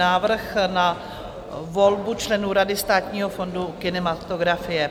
Návrh na volbu členů Rady Státního fondu kinematografie